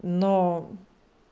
но